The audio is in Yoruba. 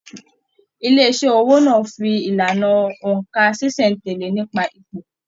Ilé iṣẹ owó náà fí ìlànà óńka ṣiṣẹ-n-tẹle nípa ipò.